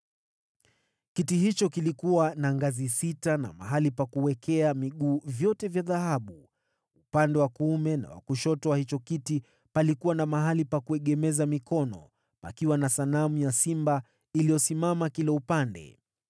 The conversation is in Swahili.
Kiti hicho kilikuwa na ngazi sita na mahali pa kuwekea miguu vyote vya dhahabu. Pande zote za kiti kulikuwa na mahali pa kuegemeza mikono, na simba wawili wakisimama kando ya hiyo mikono.